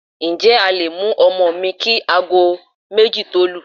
Ǹjẹ́ a le mú ọmọ mi kí aago méjì tó lù?